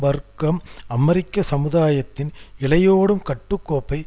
வர்க்கம் அமெரிக்க சமுதாயத்தின் இழையோடும் கட்டு கோப்பை